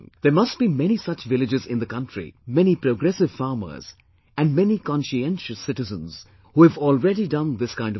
There must be many such villages in the country, many progressive farmers and many conscientious citizens who have already done this kind of work